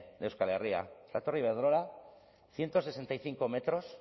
de euskal herria la torre iberdrola ciento sesenta y cinco metros